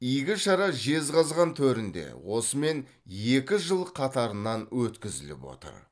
игі шара жезқазған төрінде осымен екінші жыл қатарынан өткізіліп отыр